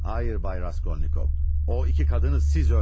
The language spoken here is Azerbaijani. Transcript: Hayır Bay Raskolnikov, o iki kadını siz öldürdünüz.